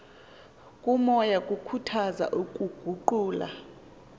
komoya kukhuthaza ukuguqula